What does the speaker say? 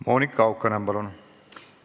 Monika Haukanõmm, palun!